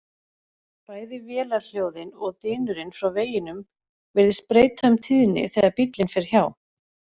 Bæði vélarhljóðið og dynurinn frá veginum virðist breyta um tíðni þegar bíllinn fer hjá.